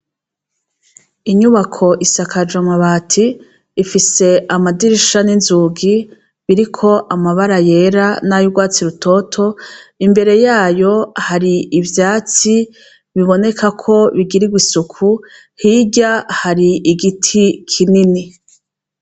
Inyubako isakaje amabati ifise amadirisha n'inzugi biriko amabara yera n'ayurwatsi rutoto imbere yayo hari ivyatsi bibonekako bigirigwa isuku hirya hari igiti kinini .